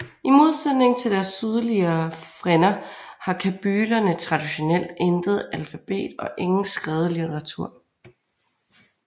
I modsætning til deres sydligere frænder har kabylerne traditionelt intet alfabet og ingen skrevet literatur